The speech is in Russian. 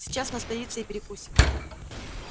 сейчас настоится и перекусим